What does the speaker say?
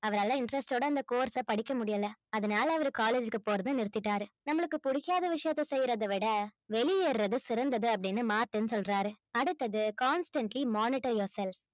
அவரால interest ஓட அந்த course அ படிக்க முடியலை அதனால அவரு college க்கு போறதை நிறுத்திட்டாரு நம்மளுக்கு பிடிக்காத விஷயத்த செய்யறதை விட வெளியேறது சிறந்தது அப்படின்னு மார்ட்டின் சொல்றாரு அடுத்தது constantly monitor yourself